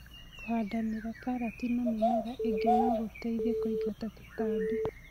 Kũhandanĩria karati na mĩmera ĩngĩ nogũteithie kũingata tũtambi.